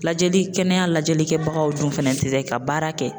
Lajɛli kɛnɛya lajɛlikɛbagaw dun fɛnɛ te se ka baara kɛ